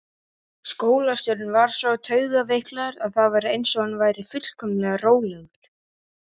Skólastjórinn var svo taugaveiklaður að það var eins og hann væri fullkomlega rólegur.